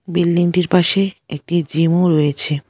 বিল্ডিংটির পাশে একটি জিমও রয়েছে।